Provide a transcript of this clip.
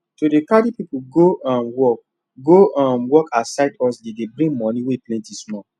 to dey carry people go um work go um work as side hustle dey bring money wey plenty small